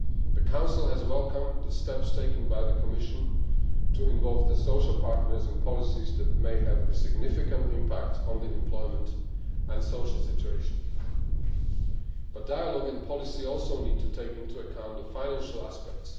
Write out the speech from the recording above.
The Council has welcomed the steps taken by the Commission to involve the social partners in policies that may have a significant impact on the employment and social situation, but dialogue and policy also need to take into account the financial aspects.